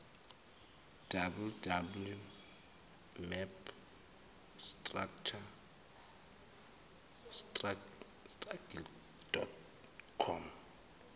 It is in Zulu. www mapstrategy com